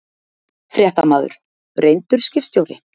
Fréttamaður: Reyndur skipstjóri?